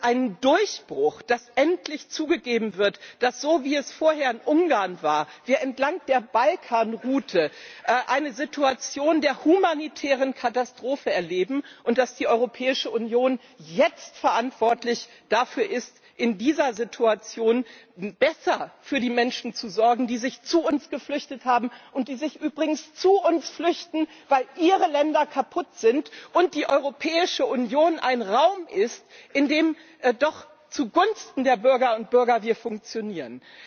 Ich finde, es ist ein Durchbruch, dass endlich zugegeben wird, dass so wie vorher in Ungarn wir entlang der Balkanroute eine Situation der humanitären Katastrophe erleben und dass die Europäische Union jetzt verantwortlich dafür ist, in dieser Situation besser für die Menschen zu sorgen, die sich zu uns geflüchtet haben und die sich übrigens zu uns flüchten, weil ihre Länder kaputt sind und die Europäische Union ein Raum ist, in dem wir doch zugunsten der Bürgerinnen und Bürger funktionieren.